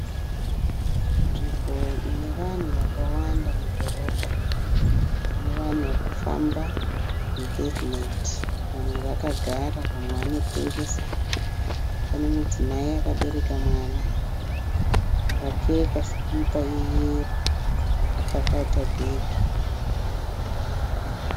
Nzvimbo ine vanhu vakawanda mudhorobha. Pane vanhu varikufamba mu(pavement). Vamwe vakagara vamwe vanotengesa. Pane mudzimai akabereka mwana akapfeka sikipa yeyero akapakata bhegi.